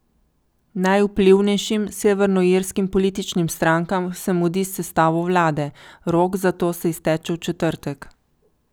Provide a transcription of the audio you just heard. Najvplivnejšim severnoirskim političnim strankam se mudi s sestavo vlade, rok za to se izteče v četrtek.